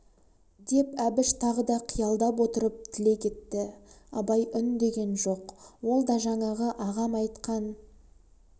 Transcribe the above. деп әбіш тағы да қиялдап отырып тілек етті абай үндеген жоқ ол да жаңағы ағам айтқан